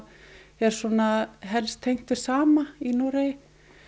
er helst tengt við sama í Noregi